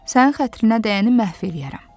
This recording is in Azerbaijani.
Sənin xətrinə dəyəni məhv eləyərəm.